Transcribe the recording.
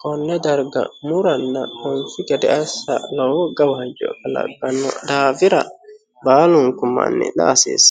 konne darga muranna anfi gede assa lowo gawajjo kalaqqano daafira baalunku manni la"a hasiissano.